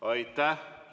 Aitäh!